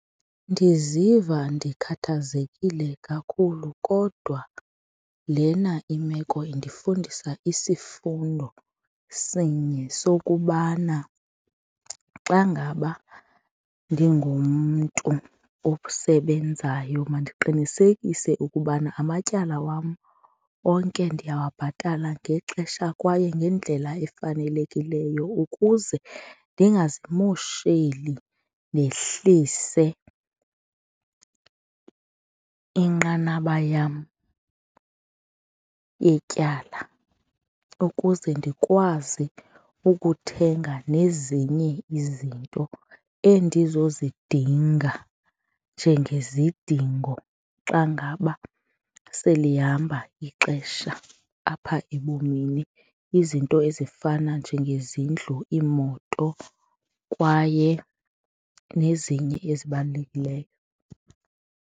Ndiziva ndikhathazekile kakhulu kodwa lena imeko indifundisa isifundo sinye sokubana xa ngaba ndingumntu osebenzayo mandiqinisekise ukubana amatyala wam onke ndiyababhatala ngexesha kwaye ngendlela efanelekileyo ukuze ndingazimosheli ndehlise inqanaba yam yetyala ukuze ndikwazi ukuthenga nezinye izinto endizozidinga njenge zidingo xa ngaba selihamba ixesha apha ebomini. Izinto ezifana njengezindlu, iimoto kwaye nezinye ezibalulekileyo.